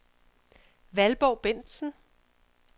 Valborg Bendtsen